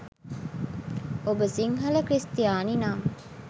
ඔබ සිංහල ක්‍රිස්තියානි නම්